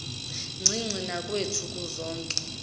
ncinci nakwethu kuzoke